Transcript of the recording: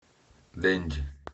денди